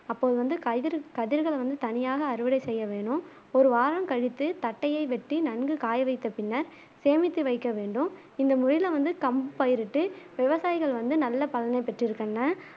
அப்போ வந்து கயிரு கதிர்கள் வந்து தனியாக அறுவடை செய்ய வேணும் ஒரு வாரம் கழித்து தட்டையை வெட்டி நன்கு காய வைத்தப் பின்னர் சேமித்து வைக்க வேண்டும் இந்த முறையில வந்து கம்பு பயிரிட்டு விவசாயிகள் வந்து நல்ல பலனை பெற்றிருக்கின்றனர்